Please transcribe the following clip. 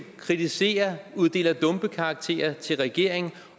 kritiserer og uddeler dumpekarakter til regeringen